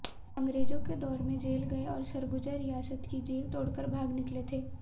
अंग्रेजों के दौर में जेल गये और सरगुजा रियासत की जेल तोड़कर भाग निकले थे